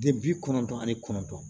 De bi kɔnɔndɔn ani kɔnɔntɔn